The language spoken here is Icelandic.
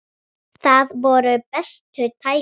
Þar voru bestu tækin.